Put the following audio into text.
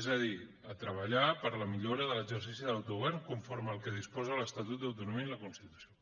és a dir a treballar per la millora de l’exercici de l’autogovern conforme al que disposa l’estatut d’autonomia i la constitució